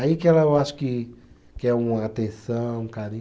Aí que ela, eu acho que quer uma atenção, um carinho.